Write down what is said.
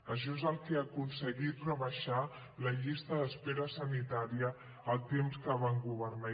això és el que ha aconseguit rebaixar la llista d’espera sanitària el temps que van governar